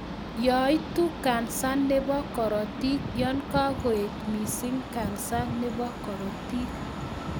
Yoitu kansa nebo korotik yon kakoet missing kansa nebo korotik